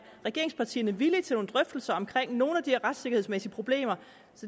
regeringspartierne villige til nogle drøftelser om nogle af de her retssikkerhedsmæssige problemer